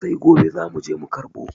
Sai gobe zamu je mu karɓo.